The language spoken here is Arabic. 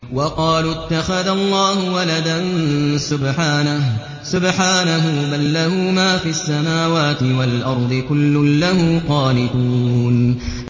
وَقَالُوا اتَّخَذَ اللَّهُ وَلَدًا ۗ سُبْحَانَهُ ۖ بَل لَّهُ مَا فِي السَّمَاوَاتِ وَالْأَرْضِ ۖ كُلٌّ لَّهُ قَانِتُونَ